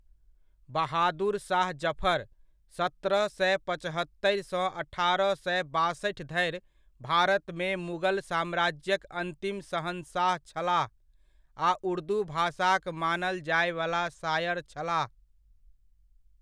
बहादुर शाह ज़फ़र, सत्रह सए पचहत्तरि सँ अठारह सए बासठि धरि भारतमे मुगल साम्राज्यक अन्तिम शहंशाह छलाह आ उर्दू भाषाक मानल जायवला शायर छलाह।